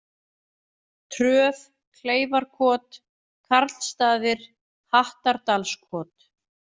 Tröð, Kleifarkot, Karlsstaðir, Hattardalskot